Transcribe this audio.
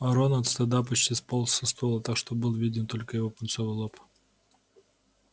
рон от стыда почти сполз со стула так что был виден только его пунцовый лоб